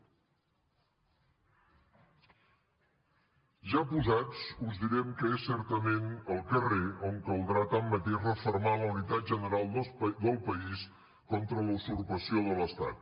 ja posats us direm que és certament al carrer on caldrà tanmateix refermar la unitat general del país contra la usurpació de l’estat